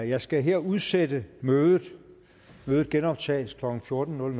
jeg skal her udsætte mødet mødet genoptages klokken fjorten